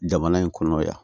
Jamana in kɔnɔ yan